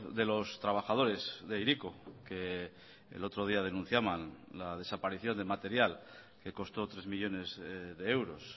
de los trabajadores de hiriko que el otro día denunciaban la desaparición de material que costó tres millónes de euros